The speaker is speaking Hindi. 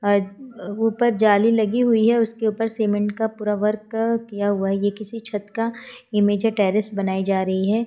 ऊपर जाली लगी हुई है। उसके ऊपर सीमेंट का पूरा वर्क किया हुआ ये किसी छठ का इमेज या बनाई जा रही है।